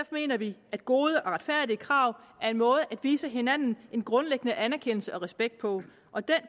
mener vi at gode og retfærdige krav er en måde at vise hinanden en grundlæggende anerkendelse og respekt på og den